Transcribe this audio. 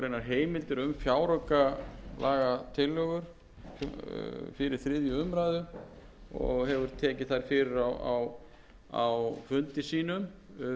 heimildir um fjáraukalagatillögur fyrir þriðju umræðu og hefur tekið þær fyrir á fundi sínum